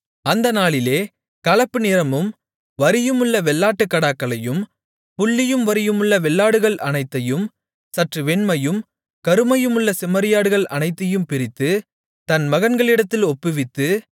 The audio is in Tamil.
அந்த நாளிலே கலப்பு நிறமும் வரியுமுள்ள வெள்ளாட்டுக் கடாக்களையும் புள்ளியும் வரியுமுள்ள வெள்ளாடுகள் அனைத்தையும் சற்று வெண்மையும் கருமையுமுள்ள செம்மறியாடுகள் அனைத்தையும் பிரித்து தன் மகன்களிடத்தில் ஒப்புவித்து